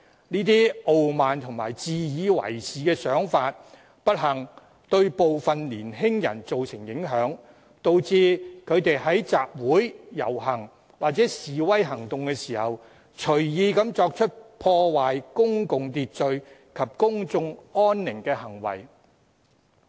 該些傲慢和自以為是的想法，不幸對部分年輕人造成影響，導致他們在集會、遊行或示威行動時隨意作出破壞公共秩序及公眾安寧的行為。